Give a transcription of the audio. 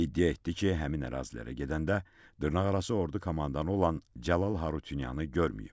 İddia etdi ki, həmin ərazilərə gedəndə dırnaqarası ordu komandanı olan Cəlal Harutyunyanı görməyib.